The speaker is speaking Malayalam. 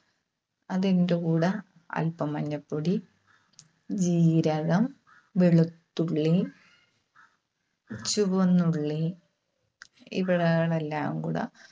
അതിന്റെകൂടെ അൽപം മഞ്ഞപ്പൊടി, ജീരകം, വെളുത്തുളളി, ചുവന്നുള്ളി ഇവകളെല്ലാംകൂടെ